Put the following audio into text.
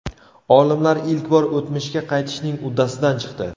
Olimlar ilk bor o‘tmishga qaytishning uddasidan chiqdi.